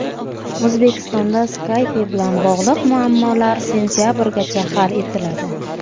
O‘zbekistonda Skype bilan bog‘liq muammolar sentabrgacha hal etiladi.